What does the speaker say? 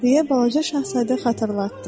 deyə Balaca Şahzadə xatırlatdı.